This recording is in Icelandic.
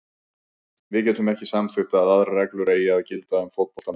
Við getum ekki samþykkt að aðrar reglur eigi að gilda um fótboltamenn.